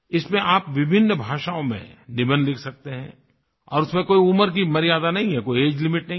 इसमें आप विभिन्न भाषाओँ में निबंध लिख सकते हैं और उसमें कोई उम्र की मर्यादा नहीं है कोई एजीई लिमिट नहीं है